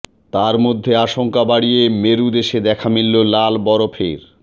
তার মধ্যে আশঙ্কা বাড়িয়ে মেরু দেশে দেখা মিলল লাল বরফের